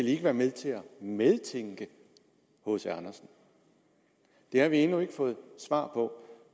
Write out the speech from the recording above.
ikke være med til at medtænke hc andersen det har vi endnu ikke fået svar på